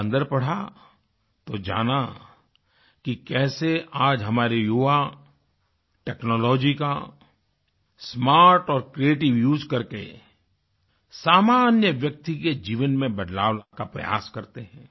जब अन्दर पढ़ा तो जाना कि कैसे आज हमारे युवा टेक्नोलॉजी का स्मार्ट और क्रिएटिव उसे करके सामान्य व्यक्ति के जीवन में बदलाव का प्रयास करते हैं